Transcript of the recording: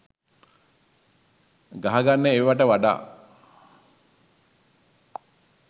ගහගන්න ඒවට වඩා